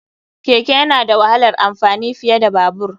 Keke yana da wahalar amfani fiye da Babur.